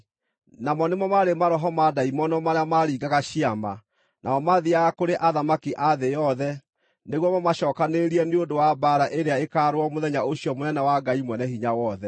Namo nĩmo maarĩ maroho ma ndaimono marĩa maringaga ciama, namo mathiiaga kũrĩ athamaki a thĩ yothe, nĩguo mamacookanĩrĩrie nĩ ũndũ wa mbaara ĩrĩa ĩkaarũo mũthenya ũcio mũnene wa Ngai Mwene-Hinya-Wothe.